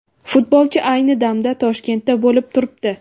Futbolchi ayni damda Toshkentda bo‘lib turibdi.